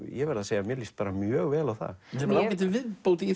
ég verð að segja að mér líst mjög vel á það þetta er ágætis viðbót í